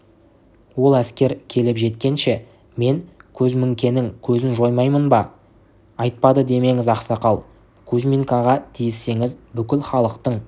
ол әскер келіп жеткенше мен көзміңкенің көзін жоймаймын ба айтпады демеңіз ақсақал кузьминкаға тиіссеңіз бүкіл халықтың